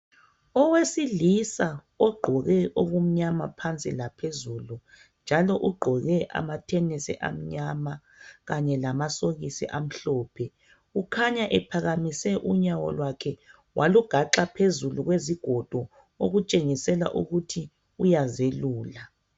Owesilisa ogqoke okumnyama phansi laphezulu njalo ugqoke ama thenisi amnyama lamasokisi amhlophe ukhanya ephakamise unyawo lakhe walugaxa phezulu kwezigodo okutshengisela ukuthi uyazelula.